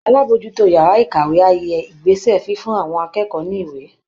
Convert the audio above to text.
Alábòójútó yàrá ìkàwé á yẹ ìgbésẹ̀ fífún àwọn akẹ́kọ̀ọ́ ní ìwé